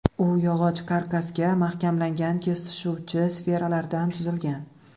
U yog‘och karkasga mahkamlangan kesishuvchi sferalardan tuzilgan.